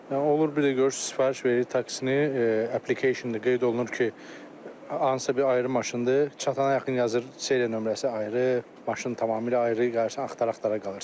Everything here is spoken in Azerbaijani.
Yəni olur bir də görürsüz sifariş veririk taksini, qeyd olunur ki, hansısa bir ayrı maşındır, çatana yaxın yazır seriya nömrəsi ayrı, maşın tamamilə ayrı, axtara-axtara qalırsan.